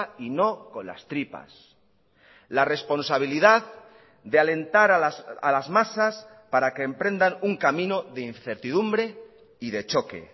y no con las tripas la responsabilidad de alentar a las masas para que emprendan un camino de incertidumbre y de choque